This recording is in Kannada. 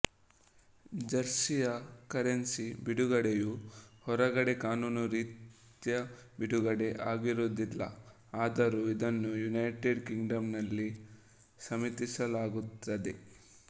ಜರ್ಸಿಯ ಕರೆನ್ಸಿ ಬಿಡುಗಡೆಯು ಹೊರಗಡೆ ಕಾನೂನು ರೀತ್ಯ ಬಿಡುಗಡೆ ಆಗಿರುವುದಿಲ್ಲಆದರೂ ಇದನ್ನು ಯುನೈಟೆಡ್ ಕಿಂಗ್ಡಮ್ ನಲ್ಲಿ ಸಮ್ಮತಿಸಲಾಗುತ್ತದೆ